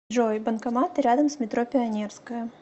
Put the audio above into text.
джой банкоматы рядом с метро пионерская